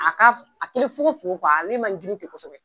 A ka f a kɛlen fogo fogo kuwa ale man giri kosɛbɛ